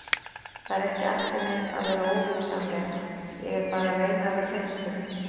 Það er ekki ætlunin að vera óvinsamleg, ég er bara að reyna að vera hreinskilin.